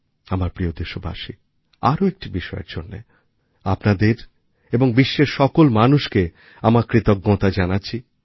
আমার প্রিয় দেশবাসী আরও একটি বিষয়ের জন্য আপনাদের এবং বিশ্বের সকল মানুষকে আমার কৃতজ্ঞতা জানাচ্ছি